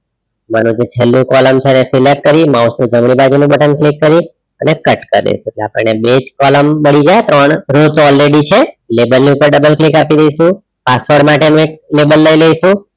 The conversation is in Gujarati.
માનો જે છેલ્લું column છે એને select કરી mouse button click કરી અને cut કરે છે આપણે બેજ column મડીજાય ત્રણ row તો already છે લેબલ ની ઉપર double click આપી દેઇશુ password માટે નું એક લેબલ લઇ લઈશુ